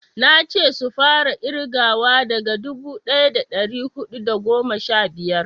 nace su fara kirgawa daga dubu daya da dari hudu da goma sha biyar